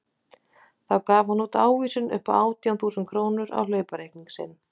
Þá gaf hann út ávísun upp á átján þúsund krónur á hlaupareikning sinn.